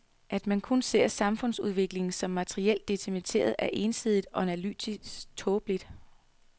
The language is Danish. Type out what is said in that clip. At man kun ser samfundsudviklingen som materielt determineret er ensidigt, og analytisk tåbeligt.